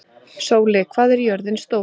Sóli, hvað er jörðin stór?